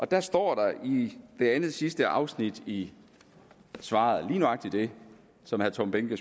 der står i næstsidste afsnit i svaret lige nøjagtig det som herre tom behnke